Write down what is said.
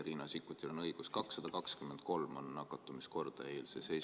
Riina Sikkutil on õigus: 223 on nakatumiskordaja eilse seisuga.